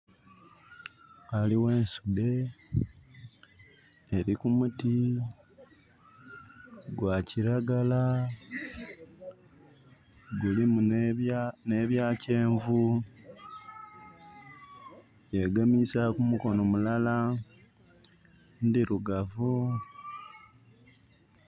Ghaliwo ensudde eri ku muti gwa kiragala gulimu ne bya kyenvu, yegemisa ku mukono mulala, ndirugavu